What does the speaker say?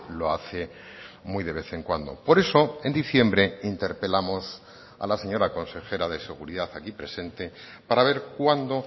lo hace muy de vez en cuando por eso en diciembre interpelamos a la señora consejera de seguridad aquí presente para ver cuándo